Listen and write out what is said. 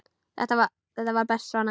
Þetta var best svona.